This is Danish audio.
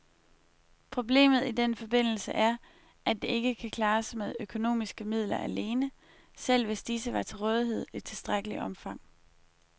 Problemet i den forbindelse er, at det ikke kan klares med økonomiske midler alene, selv hvis disse var til rådighed i tilstrækkeligt omfang.